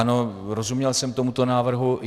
Ano, rozuměl jsem tomuto návrhu.